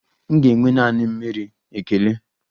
M ga-enwe naanị mmiri, ekele.